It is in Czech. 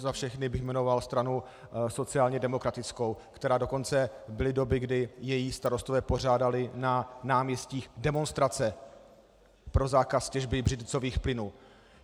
Za všechny bych jmenoval stranu sociálně demokratickou, která dokonce, byly doby, kdy její starostové pořádali na náměstích demonstrace pro zákaz těžby břidlicových plynů.